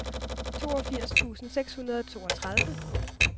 toogfirs tusind seks hundrede og toogtredive